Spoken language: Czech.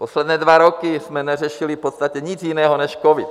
Poslední dva roky jsme neřešili v podstatě nic jiného než covid.